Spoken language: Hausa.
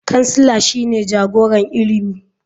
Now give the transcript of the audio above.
Kansila shine jagoran ilimi.